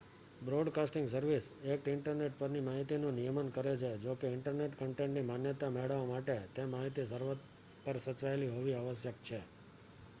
broadcasting service act internet પરની માહિતીનું નિયમન કરે છે જો કે ઈન્ટરનેટ કન્ટેન્ટની માન્યતા મેળવવા માટે તે માહિતી સર્વર પર સાચવેલી હોવી આવશ્યક છે